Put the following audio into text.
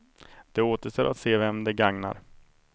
Det återstår att se vem det gagnar.